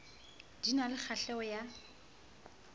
di na le kgahleho ya